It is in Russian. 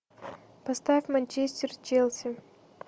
поставь манчестер с челси